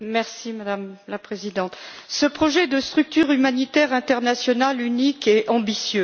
Madame la Présidente, ce projet de structure humanitaire internationale unique est ambitieux.